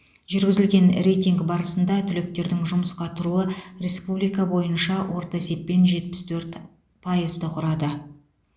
жүргізілген рейтинг барысында түлектердің жұмысқа тұруы республика бойынша орта есеппен жетпіс төрт пайызды құрады